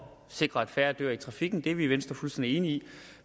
sikre at færre dør i trafikken og det er vi i venstre fuldstændig enige i